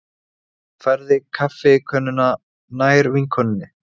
Færði kaffikönnuna nær vinkonunni.